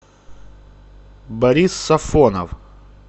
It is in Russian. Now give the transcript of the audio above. борис сафонов